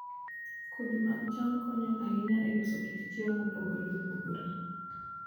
Kodhi mag cham konyo ahinya e loso kit chiemo mopogore opogore.